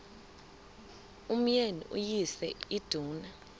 umyeni uyise iduna